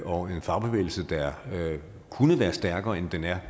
og en fagbevægelse der kunne være stærkere end den er